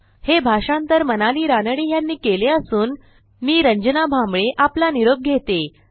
हे भाषांतर मनाली रानडे यांनी केले असून मी रंजना भांबळे आपला निरोप घेते